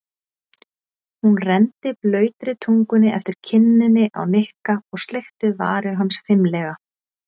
Hún renndi blautri tungunni eftir kinninni á Nikka og sleikti varir hans fimlega.